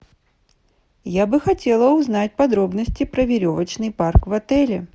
я бы хотела узнать подробности про веревочный парк в отеле